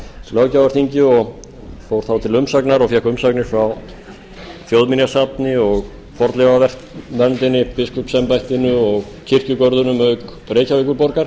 löggjafarþingi og fór þá til umsagnar og fékk umsagnir frá þjóðminjasafni fornleifasafni biskupsembættinu og kirkjugörðunum auk reykjavíkurborgar